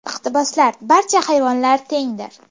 Iqtiboslar Barcha hayvonlar tengdir.